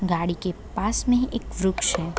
गाड़ी के पास में ही एक वृक्ष है।